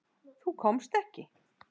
Þú komst ekki.